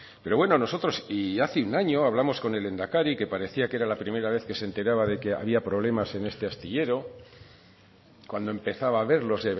pero bueno nosotros y hace un año hablamos con el lehendakari que parecía que era la primera vez que se enteraba que había problemas en este astillero cuando empezaba a haberlos